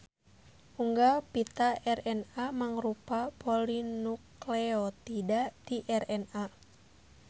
Unggal pita RNA mangrupa polinukleotida ti RNA.